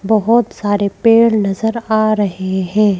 बहुत सारे पेड़ नजर आ रहे हैं।